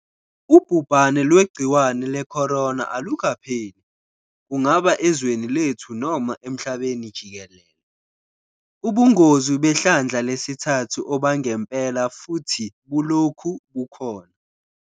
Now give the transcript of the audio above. Ubhubhane lwegciwane leCorona alukapheli, kungaba ezweni lethu noma emhlabeni jikelele. Ubungozi behlandla lesithathu obangempela futhi bulokhu bukhona.